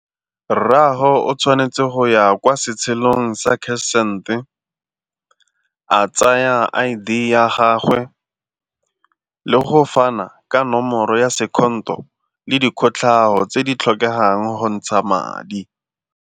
Rraago o tshwanetse go ya kwa setshelong sa cash send-e, a tsaya I_D ya gagwe le go fana ka nomoro ya le dikotlhao tse di tlhokegang go ntsha madi.